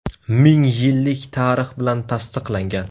Ming yillik tarix bilan tasdiqlangan.